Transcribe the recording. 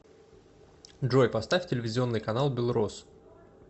джой поставь телевизионный канал белрос